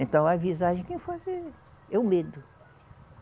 Então a visagem quem faz é, é o medo.